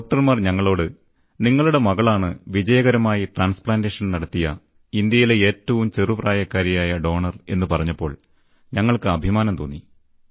ഡോക്ടർമാർ ഞങ്ങളോട് നിങ്ങളുടെ മകളാണ് വിജയകരമായി ട്രാൻസ്പ്ലാന്റേഷൻ നടത്താനായ ഇന്ത്യയിലെ ഏറ്റവും ചെറുപ്രായക്കാരിയായ ദാതാവ് എന്നു പറഞ്ഞപ്പോൾ ഞങ്ങൾക്ക് അഭിമാനം തോന്നി